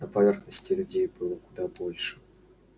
на поверхности людей было куда больше